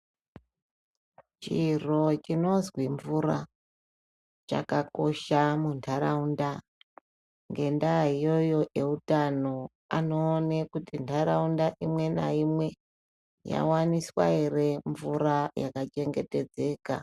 Chiro chinozwi mvura chakakosha muntaraunda. Ngendaa iyoyo eutano anoone kuti ntaraunda imwe naimwe yavaniswa ere mvura yakachena yakachengetedzeka.